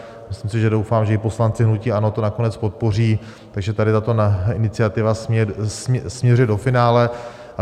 Myslím si a doufám, že i poslanci hnutí ANO to nakonec podpoří, takže tady tato iniciativa směřuje do finále.